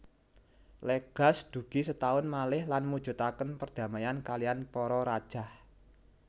Legaz dugi setaun malih lan mujudaken perdamaian kaliyan para rajah